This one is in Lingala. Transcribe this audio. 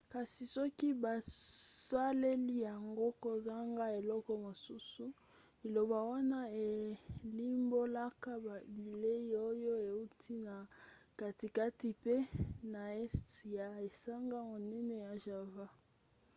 kasi soki bosaleli yango kozanga eloko mosusu liloba wana elimbolaka bilei oyo euti na katikati pe na este ya esanga monene ya java